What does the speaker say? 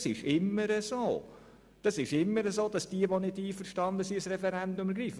Es ist immer so, dass diejenigen, die nicht einverstanden sind, das Referendum ergreifen.